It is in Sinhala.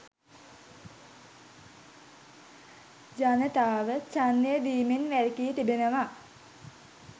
ජනතාව ඡන්දය දීමෙන් වැළකී තිබෙනවා